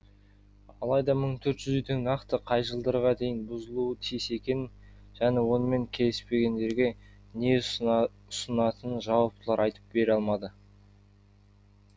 алайда мың төрт жүз үйдің нақты қай жылдарға дейін бұзылуы тиіс екенін және онымен келіспегендерге не ұсынатынын жауаптылар айтып бере алмады